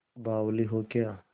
बावली हो क्या